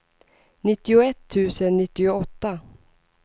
nittioett tusen nittioåtta